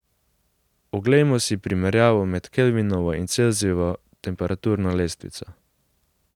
Oglejmo si primerjavo med Kelvinovo in Celzijevo temperaturno lestvico.